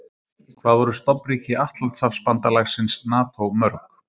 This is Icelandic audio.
Hvað voru stofnríki Atlantshafsbandalagsins NATO mörg?